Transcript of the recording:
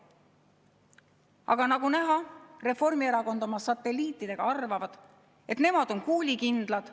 Aga nagu näha, Reformierakond oma satelliitidega arvavad, et nemad on kuulikindlad.